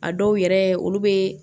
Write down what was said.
A dɔw yɛrɛ olu bɛ